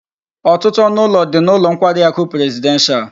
Otutu onu ulo di n'ulo nkwari aku presidential